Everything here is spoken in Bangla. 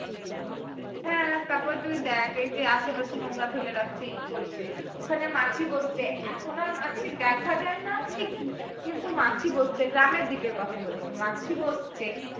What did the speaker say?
হ্যাঁ তারপর তুই দেখ এইযে আশেপাশে নোংরা ফেলে রাখছে ই করছে ওখানে মাছি বসছে এখন আর মাছি দেখা যায়না ঠিকই কিন্তু মাছি বসছে গ্রামের দিকের কথা বলছি মাছি বসছে